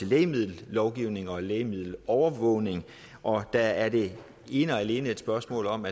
lægemiddellovgivning og lægemiddelovervågning og der er det ene og alene et spørgsmål om